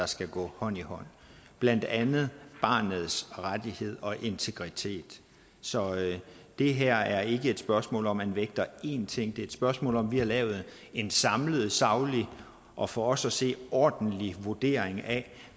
skal gå hånd i hånd blandt andet barnets rettigheder og integritet så det her er ikke et spørgsmål om om man vægter én ting det er et spørgsmål om at vi har lavet en samlet saglig og for os at se ordentlig vurdering af